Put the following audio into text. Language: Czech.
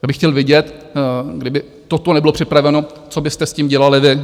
Já bych chtěl vidět, kdyby toto nebylo připraveno, co byste s tím dělali vy?